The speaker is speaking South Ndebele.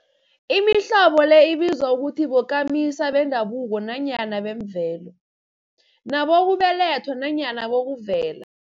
Imihlobo le ibizwa ukuthi bokamisa bendabuko nanyana bemvelo, nabokubelethwa nanyana bokuvela.